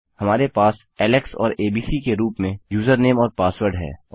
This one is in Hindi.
हमारे पास एलेक्स और एबीसी के रूप में यूजरनेम और पासवर्ड है